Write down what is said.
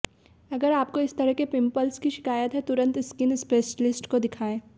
अगर आपको इस तरह के पिंपल्स की शिकायत है तो तुरंत स्किन स्पेशलिस्ट को दिखाएं